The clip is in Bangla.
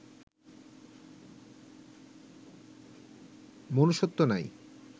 মনুষ্যত্ব নাই